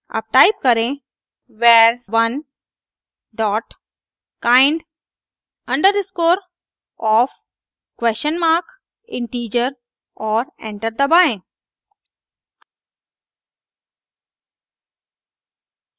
अब टाइप करें var1 dot kind_underscore of question mark integer और एंटर दबाएं